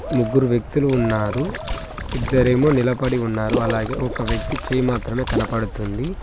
ముగ్గురు వ్యక్తులు ఉన్నారు ఇద్దరేమో నిలబడి ఉన్నారు అలాగే ఒక వ్యక్తి చెయ్ మాత్రమే కనపడుతుంది.